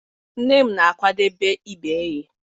Nne m na-akwadebe ibe eghe.